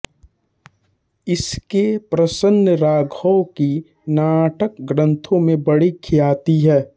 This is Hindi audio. इनके प्रसन्नराघव की नाटक ग्रंथों में बड़ी ख्याति है